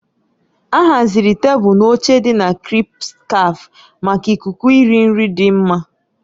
A haziri tebụl na oche dị na "CrispCafe" maka ikuku iri nri dị mma.